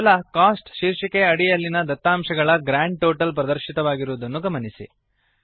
ಕೇವಲ ಕೋಸ್ಟ್ ಶೀರ್ಷಿಕೆಯ ಅಡಿಯಲ್ಲಿನ ದತ್ತಾಂಶಗಳ ಗ್ರಾಂಡ್ ಟೋಟಲ್ ಪ್ರದರ್ಶಿತವಾಗಿರುವುದನ್ನು ಗಮನಿಸಿ